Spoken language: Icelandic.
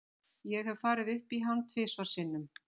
Ég hef farið upp í hann tvisvar sinnum.